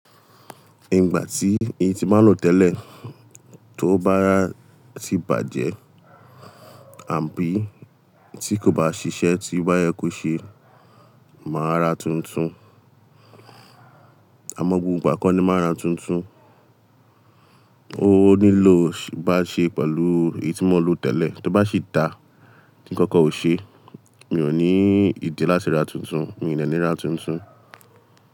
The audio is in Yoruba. Ìgbà tí èyí tí máa ń lò tẹ́lẹ̀ tó báa ti bàjẹ́ àbí tí kò bá ṣiṣẹ́ tí ọ́ ba yẹ kó ṣe máa rà tuntun. Àmọ́ gbogbo ìgbà kọ́ ni máa ń rà tuntun. Ó nílò ibá ṣe pẹ̀lú èyí tí mo ń lò tẹ́lẹ̀, tó bá sì dá tí ńkankan ò ṣe mi ò ní ìdí láti rà tuntun. Mí ò de ní rà tuntun.